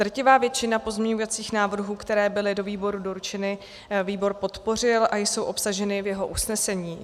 Drtivou většinu pozměňovacích návrhů, které byly do výboru doručeny, výbor podpořil a jsou obsaženy v jeho usnesení.